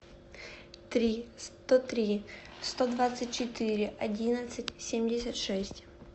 три сто три сто двадцать четыре одиннадцать семьдесят шесть